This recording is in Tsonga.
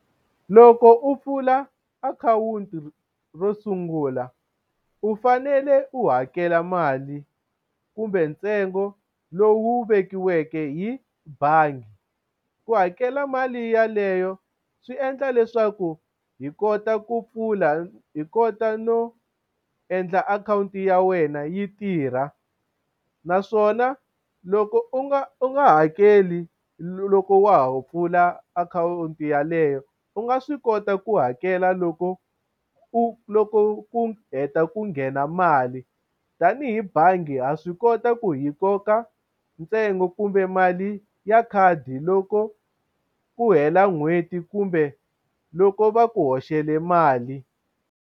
Loko u pfula akhawunti ro sungula u fanele u hakela mali kumbe ntsengo lowu vekiweke hi bangi u hakela mali ya leyo swi endla leswaku hi kota ku pfula hi kota no endla akhawunti ya wena yi tirha naswona loko u nga u nga hakeli loko wa ha pfula akhawunti ya leyo u nga swi kota ku hakela loko u loko ku heta ku nghena mali tanihi bangi ha swi kota ku hi koka ntsengo kumbe mali ya khadi loko ku hela n'hweti kumbe loko va ku hoxela mali.